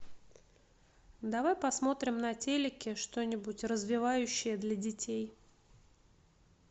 давай посмотрим на телеке что нибудь развивающее для детей